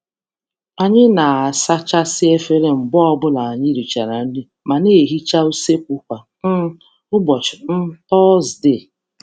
Anyị na - asachasị efere mgbe ọ bụla anyị richara nri ma na-ehicha useekwu kwa um ụbọchị um Tọzdee